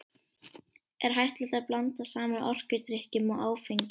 Er hættulegt að blanda saman orkudrykkjum og áfengi?